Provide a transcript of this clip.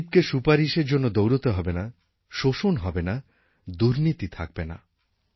গরীবকে সুপারিশের জন্য দৌড়তে হবে না এক্সপ্লোইটেশন হবে না দুর্ণীতি থাকবে না